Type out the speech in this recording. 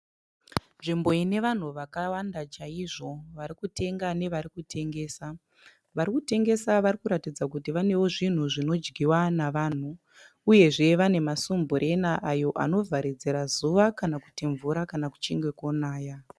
Nzvimbo inevanhu vakawanda chaizvo varikutenga nevarikutengesa. Varikutengesa varikuratidza kuti vanewo zvinhu zvinodyiwa nevanhu. Uyezve vane masumbureni ayo anovharidzira zuva kana kuti mvura kana kuchinge konaya.